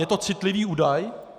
Je to citlivý údaj?